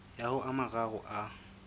ya ho a mararo a